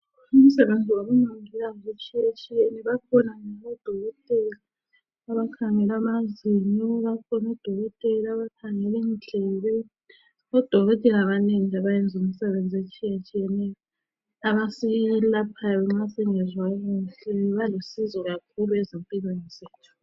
Imisebenzi yabomongikazi itshiyatshiyene. Bakhona odokotela abakhangela amazinyo. Bakhona odokotela abakhangela indlebe. Odokotela banengi abayenza imisebenzi etshiyetshiyeneyo abaselaphayo nxa singezwa kuhle. Balusizo kakhulu empilweni zethu